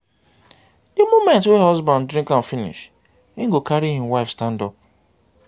di moment wey husband drink am finish him go carry him wife stand up